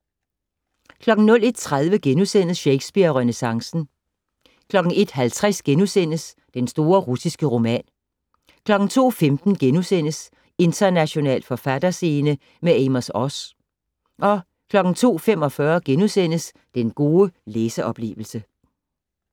01:30: Shakespeare og renæssancen * 01:50: Den store russiske roman * 02:15: International forfatterscene - med Amos Oz * 02:45: Den gode læseoplevelse *